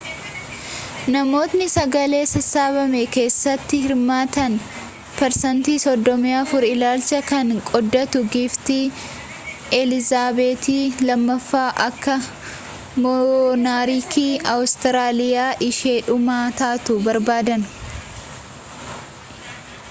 namootni sagalee sassaabame keessatti hirmaatan perseentiin 34 ilaalcha kana qooddatu giiftii elizaabeetii 2ffaan akka moonarkii awustiraaliyaa ishee dhumaa taatu barbaadan